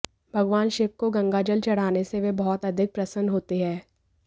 भगवान शिव को गंगाजल चढ़ाने से वे बहुत अधिक प्रसन्न होते हैं